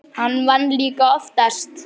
Hann vann líka oftast.